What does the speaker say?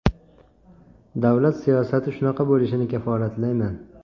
Davlat siyosati shunaqa bo‘lishini kafolatlayman.